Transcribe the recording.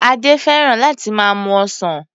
Adé fẹ́ràn láti máa mu ọsàn.